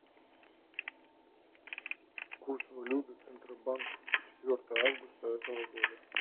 курс валюты центробанка четвертого августа этого года